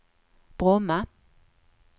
Bromma